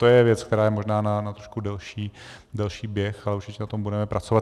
To je věc, která je možná na trošku delší běh, ale určitě na tom budeme pracovat.